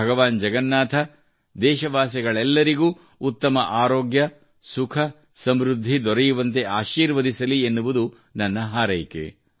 ಭಗವಾನ್ ಜಗನ್ನಾಥ ದೇಶವಾಸಿಗಳೆಲ್ಲರಿಗೂ ಉತ್ತಮ ಆರೋಗ್ಯ ಸುಖ ಸಮೃದ್ಧಿ ದೊರೆಯುವಂತೆ ಆಶೀರ್ವದಿಸಲಿ ಎನ್ನುವುದು ನನ್ನ ಹಾರೈಕೆ